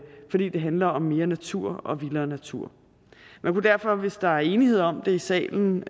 handler om mere natur og vildere natur man kunne derfor hvis der er enighed om det i salen